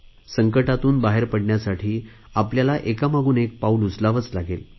संकंटातून बाहेर पडण्यासाठी आपल्याला एकामागून एक पाऊल उचलावेच लागेल